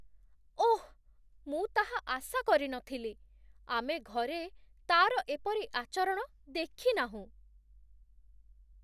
ଓଃ, ମୁଁ ତାହା ଆଶା କରି ନ ଥିଲି। ଆମେ ଘରେ ତା'ର ଏପରି ଆଚରଣ ଦେଖିନାହୁଁ।